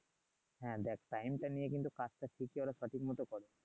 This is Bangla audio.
হ্যাঁ দেখ টা নিয়ে কিন্তু এর থেকে ওরা সঠিক মতো করছে